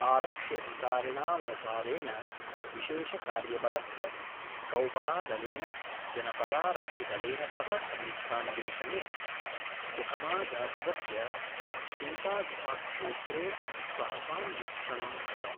आरक्ष्यधिकारिणामनुसारेण विशेषकार्यबलस्य कौबरादलेन जनपदारक्षिदलेन सह संयुक्तान्वेषणे सुकमाजनपदस्य चिंतागुफाक्षेत्रे सहसान्वीक्षणं कृतम्।